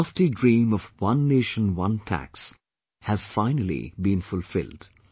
The lofty dream of One Nation One Tax has finally been fulfilled